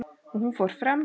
Og hún fer fremst.